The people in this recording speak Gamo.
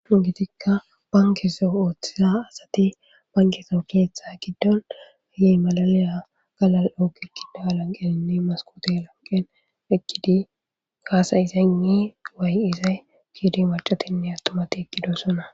gitikka bankeso ooththisa asati bankeso keeththa giddon ayi malaliya galal7ogi kida alanqeninne maskote lanqen ekkidi kaasayisaynni waay izay kiidi macatinne attumati ekkido sona